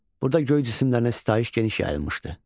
Burada göy cisimlərinə sitayiş geniş yayılmışdı.